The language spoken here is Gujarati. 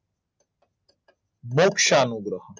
મોક્ષાનું ગ્રહણ